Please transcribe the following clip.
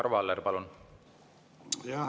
Arvo Aller, palun!